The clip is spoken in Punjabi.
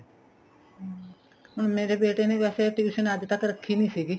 ਹਮ ਹੁਣ ਮੇਰੇ ਬੇਟੇ ਨੇ ਵੈਸੇ tuition ਅੱਜ ਤੱਕ ਰੱਖੀ ਨੀਂ ਸੀਗੀ